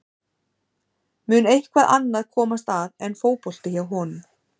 Mun eitthvað annað komast að en fótbolti hjá honum?